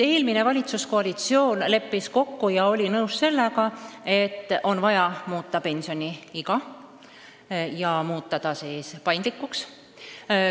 Eelmine valitsuskoalitsioon leppis kokku ja oli nõus sellega, et on vaja muuta pensioniiga ja muuta pensionile minek paindlikuks.